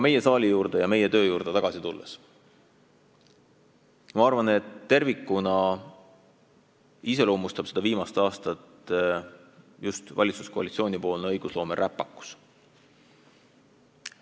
Meie saali juurde ja meie töö juurde tagasi tulles ma arvan, et tervikuna iseloomustab viimast aastat just valitsuskoalitsiooni õigusloome räpakus.